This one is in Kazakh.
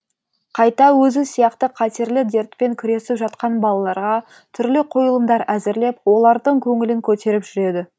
қайта өзі сияқты қатерлі дертпен күресіп жатқан балаларға түрлі қойылымдар әзірлеп олардың көңілін көтеріп жүреді